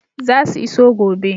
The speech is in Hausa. Zasu iso gobe.